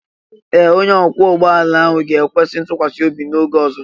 Ee! Onye ọkwọ ụgbọ ala ahụ ga-ekwesị ntụkwasị obi n'oge ọzọ.